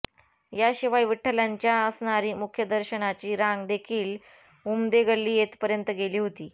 याशिवाय विठठलांच्या असणारी मुख्यदर्शनाची रांग देखिल उमदे गल्ली येथपर्यत गेली होती